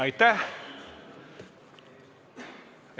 Aitäh!